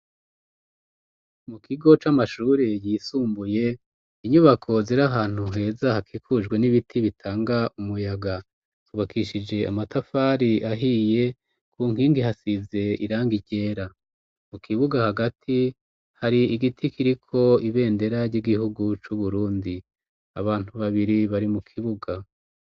Mu kigo c'amashure yisumbuye inyubako zir ahantu heza hakikujwe n'ibiti bitanga umuyaga zubakishije amatafari ahiye ku nkingi hasize iranga ryera mu kibuga hagati hari igiti kiriko ibendera ry'igihugu c'uburundi abantu babiri bari mu kibuga.